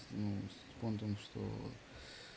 ну с понтом что